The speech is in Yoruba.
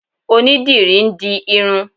Onídìrí ń di irun